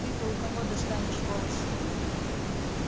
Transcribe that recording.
ты-то у кого достанешь волосы